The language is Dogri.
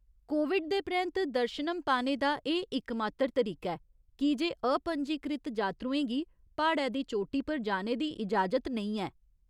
कोविड दे परैंत्त, दर्शनम पाने दा एह् इकमात्तर तरीका ऐ, कीजे अपंजीकृत जात्तरुएं गी प्हाड़ै दी चोटी पर जाने दी इजाजत नेईं ऐ।